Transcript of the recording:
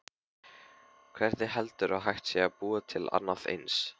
Hvernig heldurðu að hægt sé að búa til annað eins?